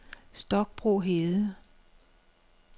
Stokbro Hede